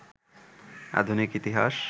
আধুনিক ইতিহাস